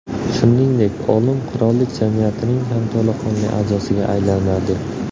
Shuningdek, olim Qirollik jamiyatining ham to‘laqonli a’zosiga aylanadi.